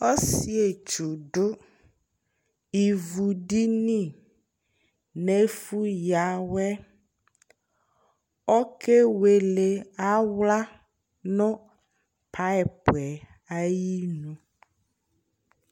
ɔsiiɛ ɛtwʋ dʋ ivʋ dini nʋ ɛƒʋ ya awɛ ɔkɛ wɛlɛ ala nʋ pipeɛ ayinʋ